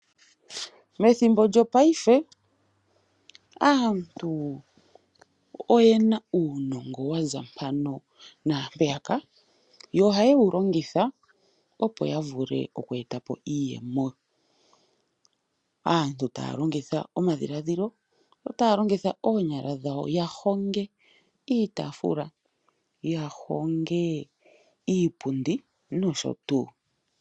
Methimbo lyopaife, aantu oye na uunongo wa za mpano naampeyaka, yo ohaye wu longitha, opo ya vule okweeta po iiyemo. Aantu taa longitha omadhiladhilo, yo taa longitha oonyala dhawo ya honge iitaafula, ya honge iipundi nosho tuu.